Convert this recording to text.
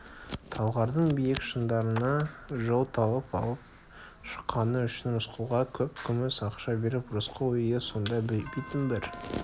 талғардың биік шыңдарына жол тауып алып шыққаны үшін рысқұлға көп күміс ақша беріп рысқұл үйі сонда битін бір